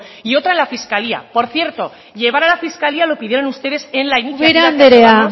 y otra en la fiscalía por cierto llevar a la fiscalía lo pidieron ustedes en la ubera andrea